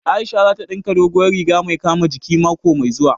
Aisha za ta ɗinka dogowar riga mai kama jiki mako mai zuwa